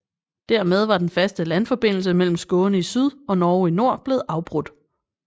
Dermed var den faste landforbindelse mellem Skåne i syd og Norge i nord blevet afbrudt